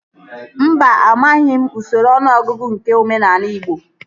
Mba, amaghị m usoro ọnụọgụgụ nke omenaala igbo